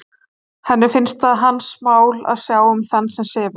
Henni finnst það hans mál að sjá um þann sem sefur.